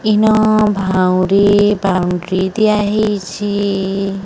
ଇନ ଭାଉରି ପାଉ ପିଦିଆ ହେଇଚି ।